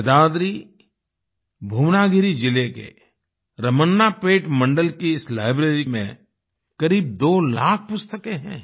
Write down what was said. यदाद्रिभुवनागिरी जिले के रमन्नापेट मंडल की इस लाइब्रेरी में करीब 2 लाख पुस्तकें हैं